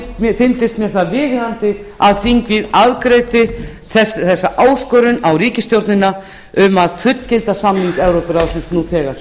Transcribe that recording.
sinn fyndist mér viðeigandi að þingið afgreiddi þessa áskorun á ríkisstjórnina um að fullgilda samning evrópuráðsins nú þegar